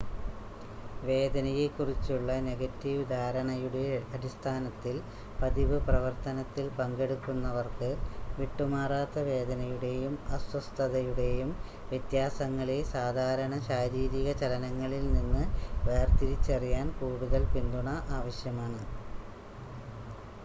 വേദനയെ കുറിച്ചുള്ള നെഗറ്റീവ് ധാരണയുടെ അടിസ്ഥാനത്തിൽ പതിവ് പ്രവർത്തനത്തിൽ പങ്കെടുക്കുന്നവർക്ക് വിട്ടുമാറാത്ത വേദനയുടെയും അസ്വസ്ഥതയുടെയും വ്യത്യാസങ്ങളെ സാധാരണ ശാരീരിക ചലനങ്ങളിൽ നിന്ന് വേർതിരിച്ചറിയാൻ കൂടുതൽ പിന്തുണ ആവശ്യമാണ്